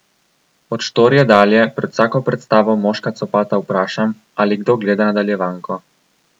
Od Štorije dalje pred vsako predstavo Moška copata vprašam, ali kdo gleda nadaljevanko.